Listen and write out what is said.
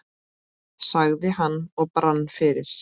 sagði hann og brann fyrir.